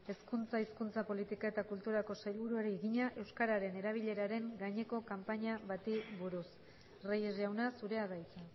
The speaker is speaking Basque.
hezkuntza hizkuntza politika eta kulturako sailburuari egina euskararen erabileraren gaineko kanpaina bati buruz reyes jauna zurea da hitza